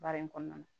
Baara in kɔnɔna na